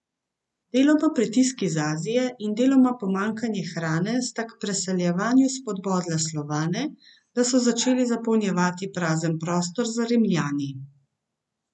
Deloma pritisk iz Azije in deloma pomanjkanje hrane sta k preseljevanju spodbodla Slovane, da so začeli zapolnjevati prazen prostor za Rimljani.